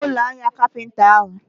Amaghị m ụlọ ahịa kapinta ahụ.